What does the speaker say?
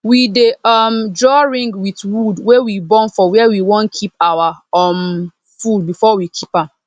we dey um draw ring with wood wey we burn for where we wan keep our um food before we keep am